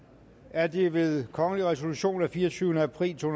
er det ved kongelig resolution af fireogtyvende april to